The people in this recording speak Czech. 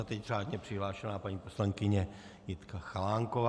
A teď řádně přihlášená paní poslankyně Jitka Chalánková.